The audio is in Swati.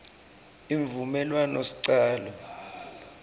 imvumelwanosicalo